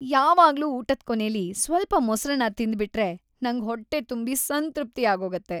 ಯಾವಾಗ್ಲೂ ಊಟದ್ ಕೊನೆಲಿ ಸ್ವಲ್ಪ ಮೊಸ್ರನ್ನ ತಿಂದ್ಬಿಟ್ರೆ ನಂಗ್‌ ಹೊಟ್ಟೆ ತುಂಬಿ ಸಂತೃಪ್ತಿ ಆಗೋಗತ್ತೆ.